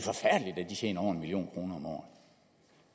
tjener over en million kroner om året